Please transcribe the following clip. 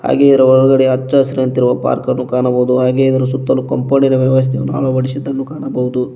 ಹಾಗೆ ಇದರ ಒಳಗಡೆ ಹಚ್ಚಹಸಿರಂತಿರುವ ಪಾರ್ಕನ್ನು ಕಾಣಬಹುದು ಹಾಗೆ ಇದರ ಸುತ್ತಲು ಕಾಂಪೌಂಡಿನ ವ್ಯವಸ್ಥೆಯನ್ನು ಅಳವಡಿಸಿದ್ದನ್ನು ಕಾಣಬಹುದು.